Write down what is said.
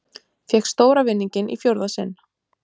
Fékk stóra vinninginn í fjórða sinn